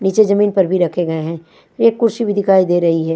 नीचे जमीन पर भी रखे गए है एक कुर्सी भी दिकाई दे रही है।